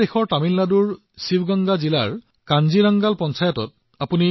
তামিলনাডুৰ শিৱগংগা জিলাৰ কাঞ্জীৰংগাল পঞ্চায়তলৈ চাওক